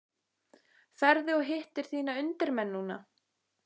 Ferðu og hittir þína undirmenn núna?